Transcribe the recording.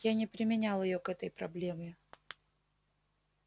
я не применял её к этой проблеме